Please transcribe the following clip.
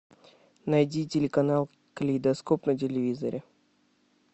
найди телеканал калейдоскоп на телевизоре